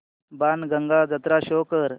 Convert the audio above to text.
बाणगंगा जत्रा शो कर